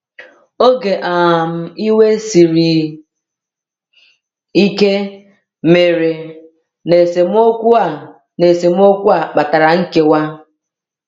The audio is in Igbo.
“Oge um iwe siri ike” mere, na esemokwu a na esemokwu a kpatara nkewa.